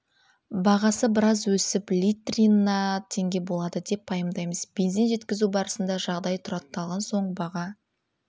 бағасы біраз өсіп литрына теңге болады деп пайымдаймыз бензин жеткізу барысында жағдай тұрақталған соң баға